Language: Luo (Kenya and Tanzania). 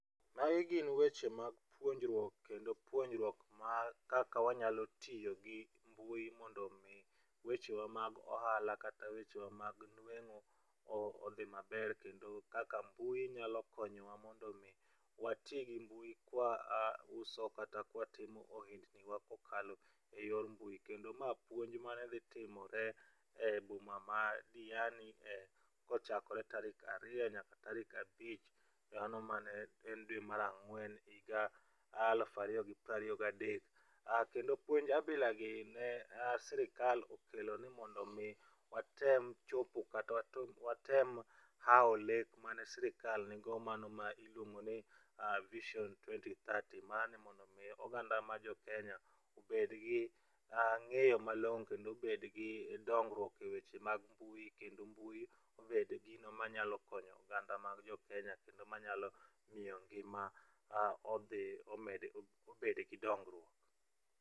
Magi gin weche mag puonjruok kendo puonjruok mar kaka wanyalo tiyo gi mbui mondo mi wechewa mag ohala kata weche wa mag nueng'o odhi maber kendo kaka mbui nyalo konyowa mondo mi wati gi mbui kwa wauso kata ka watimo ohelniwa kokalo e yor mbui. Kendo ma puonj mane dhi timore e boma mar Diani kochakore tarik ariyo nyaka tarik abich mano mane en dwe mar ang'wen higa alufu ariyo gi piero ariyo gadek. Kendo puonj abilagi ne sirikal okelo ni mondo mi watem chopo kata watem hawo lek mane sirikal nigo, mano ma iluongo ni Vision 2030. Mano mondo mi oganda ma jo Kenya obed gi ng'eyo malong'o kendo obed gi dongruok eweche mag mbui kendo mbui obed gino manyalo konyo oganda mag jo Kenya kendo manyalo miyo ngima odhi omed obed gi dongruok.